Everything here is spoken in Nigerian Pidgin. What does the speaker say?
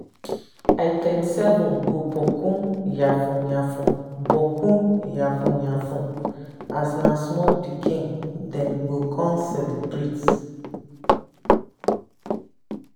item 7 go bokku yafun yafun bokku yafun yafun as na small pikin dem con celebrate